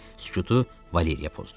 Sükutu Valeriya pozdu.